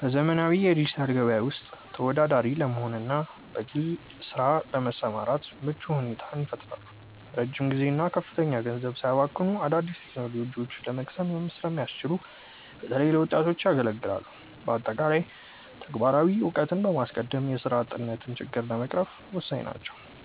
በዘመናዊው የዲጂታል ገበያ ውስጥ ተወዳዳሪ ለመሆንና በግል ስራ ለመሰማራት ምቹ ሁኔታን ይፈጥራሉ። ረጅም ጊዜና ከፍተኛ ገንዘብ ሳያባክኑ አዳዲስ ቴክኖሎጂዎችን ለመቅሰም ስለሚያስችሉ፣ በተለይ ለወጣቶች የኢኮኖሚ ነፃነትን ለማግኘትና የፈጠራ አቅማቸውን ለማሳደግ ያገለግላሉ። በአጠቃላይ፣ ተግባራዊ እውቀትን በማስቀደም የስራ አጥነትን ችግር ለመቅረፍ ወሳኝ ናቸው።